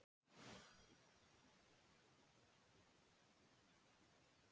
Einnig benda þau á tengsl Óðins við rúnir og þá sérstaklega við uppruna þeirra.